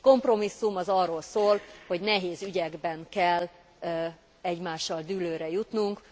Egy kompromisszum arról szól, hogy nehéz ügyekben kell egymással dűlőre jutnunk.